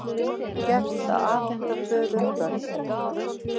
Gert að afhenda föður börn